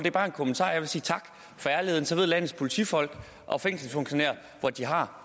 er bare en kommentar jeg vil sige tak for ærligheden så ved landets politifolk og fængselsfunktionærer hvor de har